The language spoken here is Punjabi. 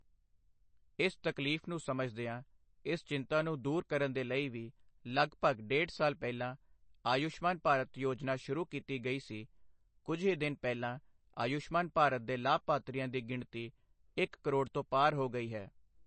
ਇਸ ਤਕਲੀਫ਼ ਨੂੰ ਸਮਝਦਿਆਂ ਇਸ ਚਿੰਤਾ ਨੂੰ ਦੂਰ ਕਰਨ ਦੇ ਲਈ ਵੀ ਲਗਭਗ ਡੇਢ ਸਾਲ ਪਹਿਲਾਂ ਆਯੁਸ਼ਮਾਨ ਭਾਰਤ ਯੋਜਨਾ ਸ਼ੁਰੂ ਕੀਤੀ ਗਈ ਸੀ, ਕੁਝ ਹੀ ਦਿਨ ਪਹਿਲਾਂ ਆਯੁਸ਼ਮਾਨ ਭਾਰਤ ਦੇ ਲਾਭਪਾਤਰੀਆਂ ਦੀ ਗਿਣਤੀ ਇੱਕ ਕਰੋੜ ਤੋਂ ਪਾਰ ਹੋ ਗਈ ਹੈ।